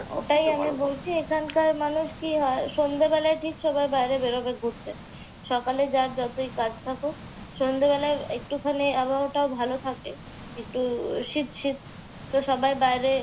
ওটাই আমি বলছি এখানকার মানুষ কি হয়, সন্ধ্যাবেলায় ঠিক সবাই বাইরে বেরুবে ঘুরতে। সকালে যার যতই কাজ থাকুক। সন্ধ্যাবেলা একটুখানি আবহাওয়াটা ভালো থাকে। একটু শীত শীত। তো সবাই বাইরে।